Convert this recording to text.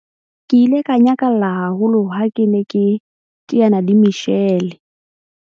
Ke ile ka nyakalla haholo ha ke ne ke teana le Michelle.